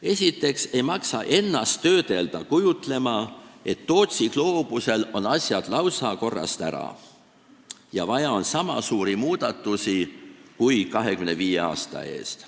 Esiteks ei maksa kallutada ennast kujutlema, et Tootsi gloobusel on asjad lausa korrast ära ja vaja on niisama suuri muudatusi kui 25 aasta eest.